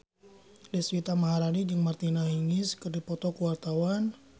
Deswita Maharani jeung Martina Hingis keur dipoto ku wartawan